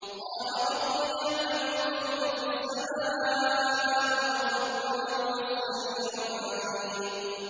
قَالَ رَبِّي يَعْلَمُ الْقَوْلَ فِي السَّمَاءِ وَالْأَرْضِ ۖ وَهُوَ السَّمِيعُ الْعَلِيمُ